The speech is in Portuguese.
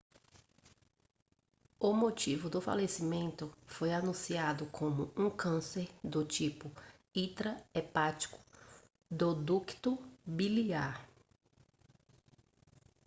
o motivo do falecimento foi anunciado como um câncer do tipo intra-hepático do ducto biliar